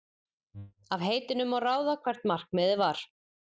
Af heitinu má ráða hvert markmiðið var.